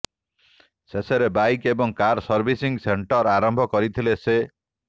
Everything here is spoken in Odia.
ଶେଷରେ ବାଇକ୍ ଏବଂ କାର ସର୍ଭିସିଂ ସେଣ୍ଟର ଆରମ୍ଭ କରିଥିଲେ ସେ